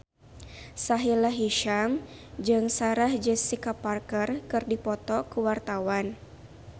Sahila Hisyam jeung Sarah Jessica Parker keur dipoto ku wartawan